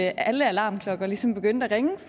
alle alarmklokker ligesom begyndte at ringe